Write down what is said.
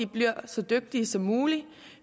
bliver så dygtige som muligt